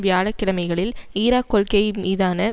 வியாழ கிழமைகளில் ஈராக் கொள்கை மீதான